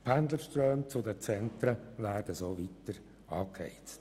Die Pendlerströme hin zu den Zentren würden so weiter angeheizt.